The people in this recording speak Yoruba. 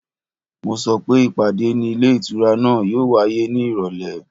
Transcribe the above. Mo sọ pé ìpàdé ní ilé ìtura náà yóò wáyé ní ìrọ̀lẹ́